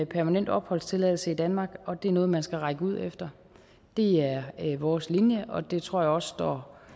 permanent opholdstilladelse i danmark og det er noget man skal række ud efter det er vores linje og det tror jeg også står